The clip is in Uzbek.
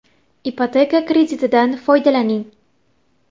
Ipoteka kreditidan foydalaning!.